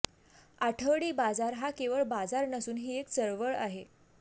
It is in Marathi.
आठवडी बाजार हा केवळ बाजार नसून ही एक चळवळ आहे